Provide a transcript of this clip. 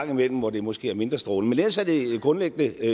gang imellem hvor det måske er mindre strålende men ellers er det grundlæggende